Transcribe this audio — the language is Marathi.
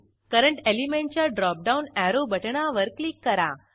करंट एलिमेंटच्या ड्रॉप डाऊन अॅरो बटणावर क्लिक करा